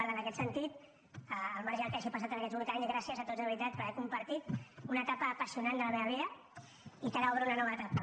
per tant en aquest sentit al marge del que hagi passat en aquests vuit anys gràcies a tots de veritat per haver compartit una etapa apassionant de la meva vida i que ara obro una nova etapa